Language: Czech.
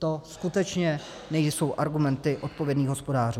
To skutečně nejsou argumenty odpovědných hospodářů.